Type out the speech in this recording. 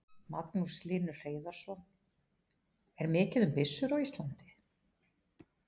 Magnús Hlynur Hreiðarsson: Er mikið um byssur á Íslandi?